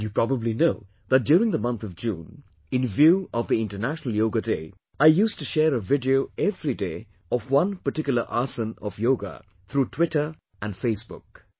And you probably know that, during the month of June, in view of the International Yoga Day, I used to share a video everyday of one particular asana of Yoga through Twitter and Face Book